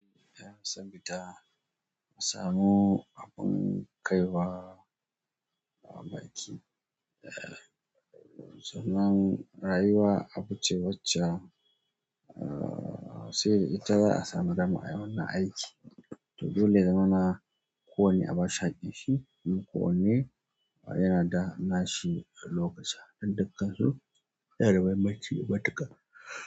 Eh, yan zan fita in sumu abun kaiwa baki. Eh, sannan rayuwa, abu ce wacce sai da ita za'a samu dama ayi wannan aiki. To dole ya zamana ko wane a ba shi haƙƙin shi, ko wane yana da nashi lokaci. Sadda kazo, yana da muhimmanci matuƙa.